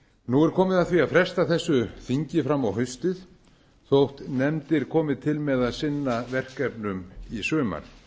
nú er komið að því að fresta þessu þingi fram á haustið þó nefndir komi til með að sinna verkefnum í sumar